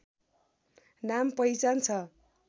नाम पहिचान छ